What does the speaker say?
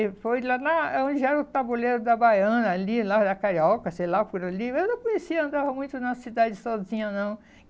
E foi lá na aonde era o tabuleiro da Baiana, ali, lá da Carioca, sei lá por ali, mas eu não conhecia, andava muito na cidade sozinha, não.